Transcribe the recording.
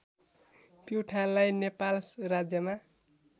प्युठानलाई नेपाल राज्यमा